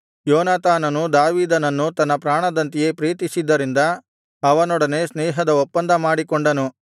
ಯೋನಾತಾನನು ದಾವೀದನನ್ನು ತನ್ನ ಪ್ರಾಣದಂತೆಯೇ ಪ್ರೀತಿಸಿದ್ದರಿಂದ ಅವನೊಡನೆ ಸ್ನೇಹದ ಒಪ್ಪಂದ ಮಾಡಿಕೊಂಡನು